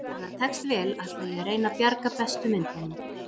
Ef það tekst vel ætla ég að reyna að bjarga bestu myndunum.